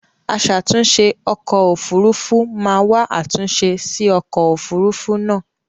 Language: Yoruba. Aṣàtunṣè ọkọ̀ òfurufú máa wa àtúnṣe sí ọkọ̀ òfurufú náà